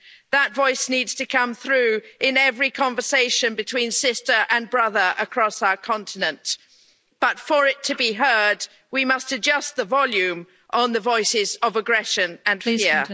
That voice needs to come through in every conversation between sister and brother across our continent, but for it to be heard we must adjust the volume on the voices of aggression and fear.